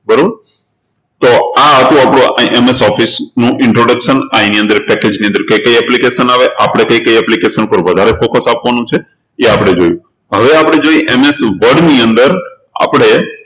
બરોબર તો આ હતું આપણું MS Office નું introduction આ એની અંદર package ની અંદર કઈ કઈ application આવે આપણે કઈ કઈ application પર વધારે focus આપવાનું છે એ આપણે જોયું હવે આપણે જોશું MS Word ની અંદર આપણે